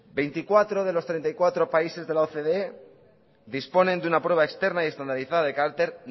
veinticuatro de los treinta y cuatro países de la ocde disponen de una prueba externa y estandarizada de carácter